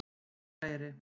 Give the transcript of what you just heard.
Búðareyri